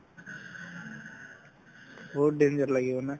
বহুত danger লাগিব না